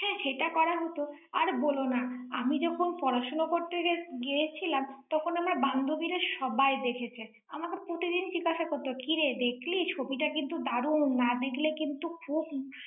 হ্যাঁ সেটা করলে হত। আর বলো না। আমি যখন পড়াশুনো করতে গিয়~ গিয়েছিলাম, তখন আমার বান্ধবীরা সবাই দেখেছে। আমাকে প্রতিদিন জিজ্ঞাসা করতো কিরে, দেখলি ছবিটা কিন্তু দারুণ, না দেখলে কিন্তু খুব।